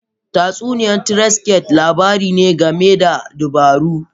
Tatsuniya trickster labari ne game da dabaru.